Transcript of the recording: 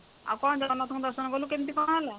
ଆଉ କଣ ଜଗନ୍ନାଥ ଙ୍କୁ ଦର୍ଶନ କଲୁ କେମିତି କଣ ହେଲା